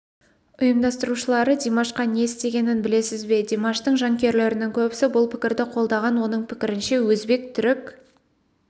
ұйымдастырушылары димашқа не істегенін білесіз бе димаштың жанкүйерлерінің көбісі бұл пікірді қолдаған оның пікірінше өзбек түрік